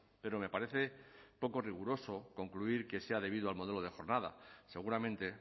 pero me parece poco riguroso concluir que sea debido al modelo de jornada seguramente